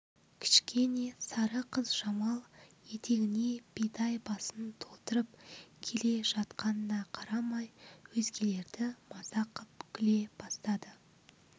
кішкене сары қыз жамал етегіне бидай басын толтырып кел жатқанына қарамай өзгелерді мазақ қып күле бастады